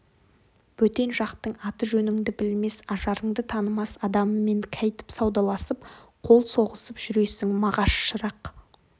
бөтен жақтың аты-жөніңді білмес ажарыңды танымас адамымен кәйтіп саудаласып қол соғысып жүресің мағаш шырақ